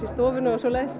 í stofunni og svoleiðis